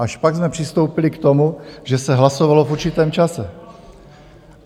Až pak jsme přistoupili k tomu, že se hlasovalo v určitém čase.